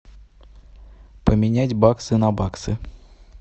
поменять баксы на баксы